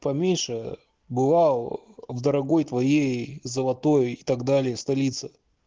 поменьше бывал в дорогой твоей золотой и так далее столице